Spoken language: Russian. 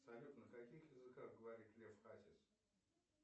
салют на каких языках говорит лев хасис